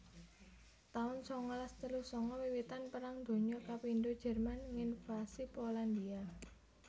taun sangalas telu sanga Wiwitan Perang Donya kapindho Jerman nginvasi Polandhia